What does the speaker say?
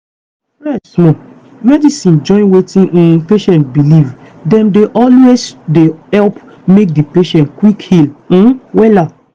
rest small. medicine join wetin um patient believe dem dey always dey help make di patient quick heal um wella.